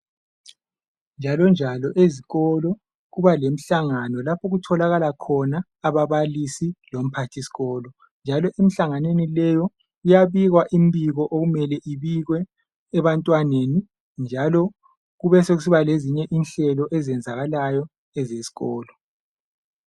njalo njalo ezikolo kubalenhlangano laho okutholakalayo umphathiskolo lababalisi njalo emihlanganweni leyi kuyabikwa imibiko okmele ibikwe ebantwaneni njalo kubesokusiba lezinye inhlelo eziyenzakalayo ezesikolo